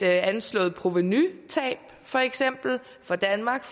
anslået provenutab for eksempel for danmark